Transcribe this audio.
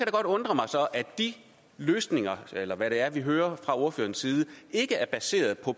godt undre mig at de løsninger eller hvad det er vi hører fra ordførerens side ikke er baseret på